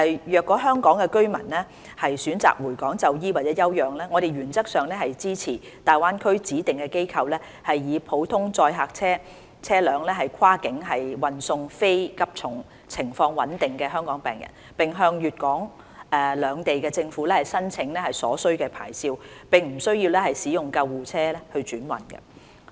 若香港居民選擇回港就醫或休養，我們原則上支持大灣區指定機構以普通載客車輛跨境運送非急重、情況穩定的香港病人，並向粵港兩地政府申請所需牌照，並不需要使用救護車轉運。